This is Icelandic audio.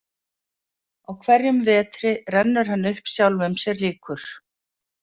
Á hverjum vetri rennur hann upp sjálfum sér líkur.